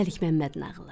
Məlik Məmməd nağılı.